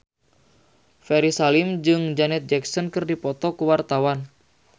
Ferry Salim jeung Janet Jackson keur dipoto ku wartawan